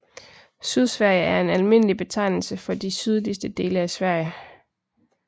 Sydsverige er en almindelig betegnelse for de sydligste dele af Sverige